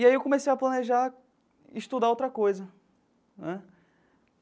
E aí eu comecei a planejar estudar outra coisa né.